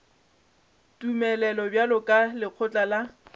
tumelelo bjalo ka lekgotla la